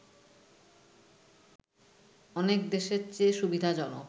অনেক দেশের চেয়ে সুবিধাজনক